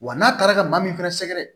Wa n'a taara ka maa min fɛnɛ sɛgɛrɛ